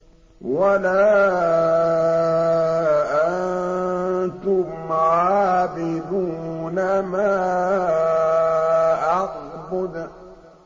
وَلَا أَنتُمْ عَابِدُونَ مَا أَعْبُدُ